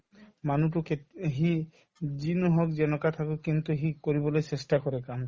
মানুহতো কেত সি যি নহওক যেনেকুৱা থাকক কিন্তু সি কৰিবলৈ চেষ্টা কৰে কাম